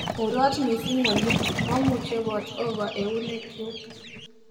urot missing olly momuchebot over eunekyuk